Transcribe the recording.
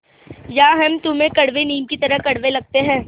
या हम तुम्हें कड़वे नीम की तरह कड़वे लगते हैं